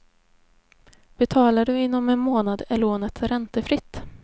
Betalar du inom en månad är lånet räntefritt.